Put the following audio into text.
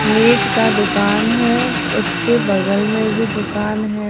Meet का दुकान है उसके बगल में भी दुकान है।